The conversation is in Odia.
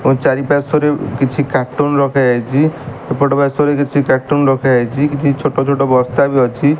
ଓ ଚାରିପାର୍ଶ୍ୱରେ କିଛି କାଟୁନ ରଖାଯାଇଚି ଏପଟ ପାର୍ଶ୍ୱରେ କିଛି କାଟୁନ ରଖାଯାଇଚି କିଛି ଛୋଟ ଛୋଟ ବସ୍ତା ବି ଅଛି।